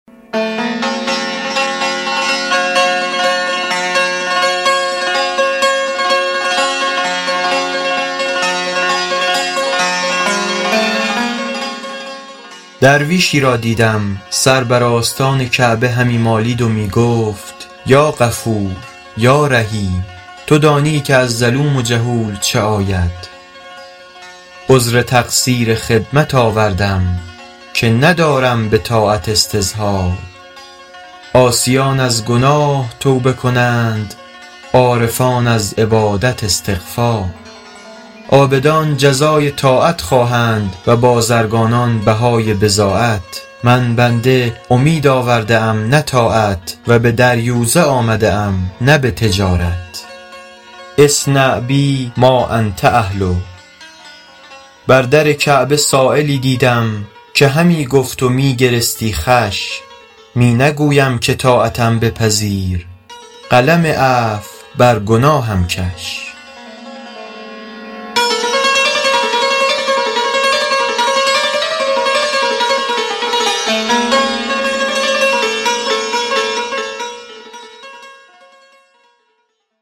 درویشی را دیدم سر بر آستان کعبه همی مالید و می گفت یا غفور یا رحیم تو دانی که از ظلوم جهول چه آید عذر تقصیر خدمت آوردم که ندارم به طاعت استظهار عاصیان از گناه توبه کنند عارفان از عبادت استغفار عابدان جزای طاعت خواهند و بازرگانان بهای بضاعت من بنده امید آورده ام نه طاعت و به دریوزه آمده ام نه به تجارت اصنع بی ما انت اهله بر در کعبه سایلی دیدم که همی گفت و می گرستی خوش می نگویم که طاعتم بپذیر قلم عفو بر گناهم کش